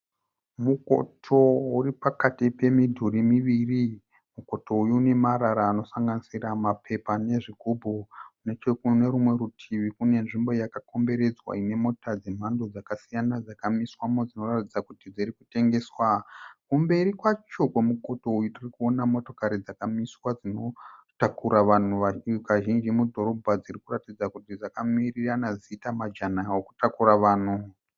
Mukoto uri pakati pemidhuri miviri. Mukoto uyu une marara anosanganisira mapepa nezvigumbu. Nechekune rumwe rutivi kune nzvimbo yakakomberedzwa ine mota dzemhando dzakasiyana dzakamiswamo dzinoratidza kuti dzirikutengeswa. Kumberi kwacho kwemukoto uyu tirikuona motokari dzakamiswa dzinotakura vanhu kazhinji mudhorobha dzirikuratidza kuti dzakamirirana dzichiita majana ekutakura vanhu.